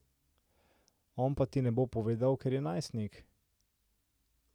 On pa ti ne bo povedal, ker je najstnik.